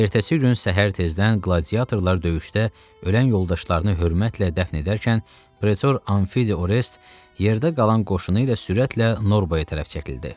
Ertəsi gün səhər tezdən qladiatorlar döyüşdə ölən yoldaşlarını hörmətlə dəfn edərkən pretor Anfidi Orest yerdə qalan qoşunu ilə sürətlə Norbaya tərəf çəkildi.